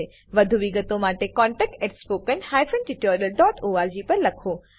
વધુ વિગતો માટે contactspoken tutorialorg પર લખો